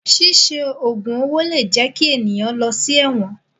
Ṣíṣe ògùn owó lè jẹ kí ènìyàn lọ sí ẹ̀wọ̀n.